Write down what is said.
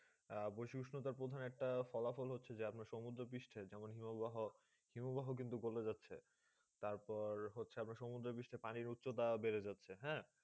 বসি বিষ্যকার প্রধান একটা ফলাফল হচ্ছেই যে আপনার সমুন্দ্র পৃষ্টে যেমন হিমবাহ হিমবাহ কিন্তু গোলে যাচ্ছেই তার পর হচ্ছেই আপনার সমুদ্র পানি বিস্তা বেড়ে যাচ্ছে হেঁ